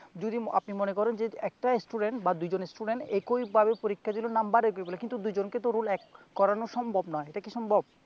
যদি আপনি মনে করেন যে একটা student বা দুইজন student একই ভাবে পরীক্ষা দিলো নাম্বার একই পেলো কিন্তু দুইজনকেতো রোল এক করানো সম্ভব না, এটা কি সম্ভব?